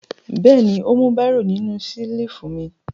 Bẹ́ẹ̀ ni, ó mú bírò nínú ṣẹ́lífù mi.